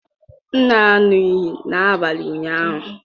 M na-aṅụ iyi n'abalị ụnyaahụ.